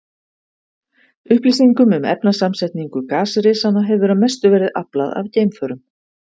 Upplýsingum um efnasamsetningu gasrisanna hefur að mestu verið aflað af geimförum.